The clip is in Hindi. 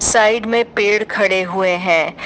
साइड में पेड़ खड़े हुए हैं।